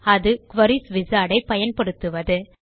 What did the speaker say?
அது queries wizard ஐ பயன்படுத்துவது